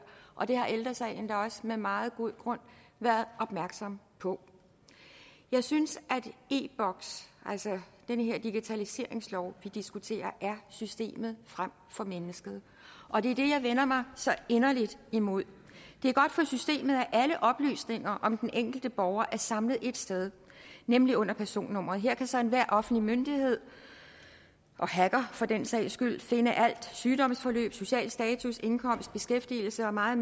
og det har ældre sagen da også med meget god grund været opmærksom på jeg synes at e boks altså den her digitaliseringslov vi diskuterer er systemet frem for mennesket og det er det jeg vender mig så inderligt imod det er godt for systemet at alle oplysninger om den enkelte borger er samlet ét sted nemlig under personnummeret her kan så enhver offentlig myndighed og hacker for den sags skyld finde alt sygdomsforløb social status indkomst beskæftigelse og meget